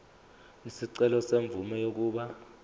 isicelo semvume yokuba